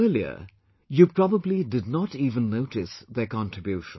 Earlier, you probably did not even notice their contribution